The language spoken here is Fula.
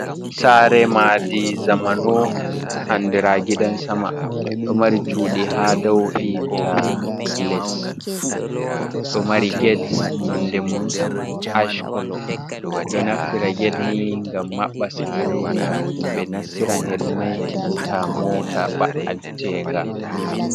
Sare madi zamano andira gidan sama, ɗo mari cuɗi ha dou e nanta les, ɗo mari get nonde mun ash kolo ɓe ɗo naftira get ni ngam maɓɓa sare himɓe nastiran hedi mai enanta mota ba'an tenga.